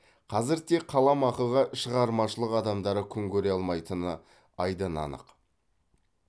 қазір тек қаламақыға шығармашылық адамдары күн көре алмайтыны айдан анық